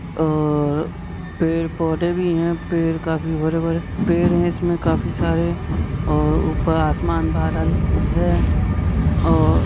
और पेड़ पौधे भी हैं पेड़ काफी हरे भरे पेड़ है इसमें काफी सारे ऊपर आसमान बादल है।